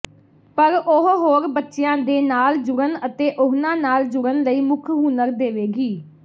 ਪਰ ਉਹ ਹੋਰ ਬੱਚਿਆਂ ਦੇ ਨਾਲ ਜੁੜਨ ਅਤੇ ਉਹਨਾਂ ਨਾਲ ਜੁੜਨ ਲਈ ਮੁੱਖ ਹੁਨਰ ਦੇਵੇਗੀ